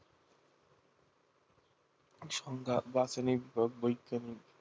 সংজ্ঞা বাচনিক বৈজ্ঞানিক